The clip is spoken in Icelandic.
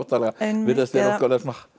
virðast vera óttalega